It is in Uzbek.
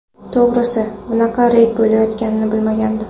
To‘g‘risi, bunaqa reyd bo‘layotganini bilmagandim.